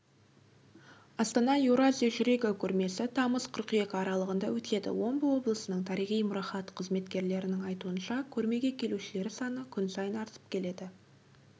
астана еуразия жүрегі көрмесі тамыз қыркүйек аралығында өтеді омбы облысының тарихи мұрағат қызметкерлерінің айтуынша көрмеге келушілер саны күн сайын артып келеді